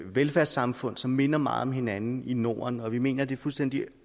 velfærdssamfund som minder meget om hinanden i norden og vi mener at det er fuldstændig